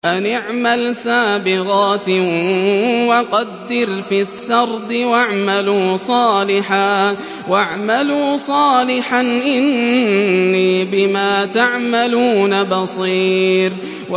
أَنِ اعْمَلْ سَابِغَاتٍ وَقَدِّرْ فِي السَّرْدِ ۖ وَاعْمَلُوا صَالِحًا ۖ إِنِّي بِمَا تَعْمَلُونَ بَصِيرٌ